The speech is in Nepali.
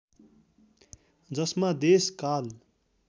जसमा देश काल